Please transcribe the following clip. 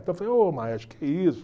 Então eu falei, ô maestro, o que é isso?